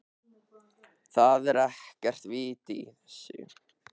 ÞAÐ ER EKKERT VIT Í ÞESSU.